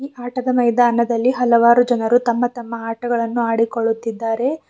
ಆಟದ ಮೈದಾನದಲ್ಲಿ ಹಲವಾರು ಜನರು ತಮ್ಮ ತಮ್ಮ ಆಟಕಳನ್ನು ಆಡಿಕೊಳ್ಳುತ್ತಿದ್ದಾರೆ.